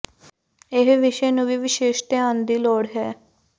ਇਹ ਵਿਸ਼ੇ ਨੂੰ ਵੀ ਵਿਸ਼ੇਸ਼ ਧਿਆਨ ਦੀ ਲੋੜ ਹੈ